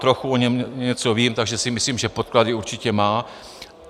Trochu o něm něco vím, takže si myslím, že podklady určitě má.